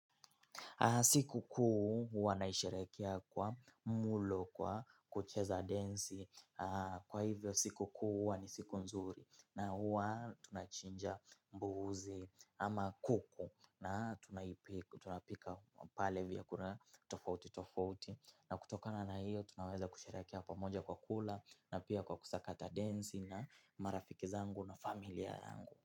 Siku kuu huwa naisherehekea kwa mulo kwa kucheza densi. Kwa hivyo sikukuu huwa ni siku nzuri. Na huwa tunachinja mbuzi ama kuku. Na tunapika pale vyakula tofauti tofauti. Na kutokana na hiyo tunaweza kusherehekea pamoja kwa kula na pia kwa kusakata densi na marafiki zangu na familia yangu.